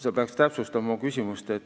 Sa peaksid oma küsimust täpsustama.